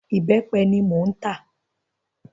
Ìbẹ́pẹ ni mò ń tà.